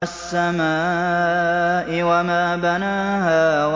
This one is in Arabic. وَالسَّمَاءِ وَمَا بَنَاهَا